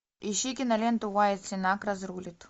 ищи киноленту уайат сенак разрулит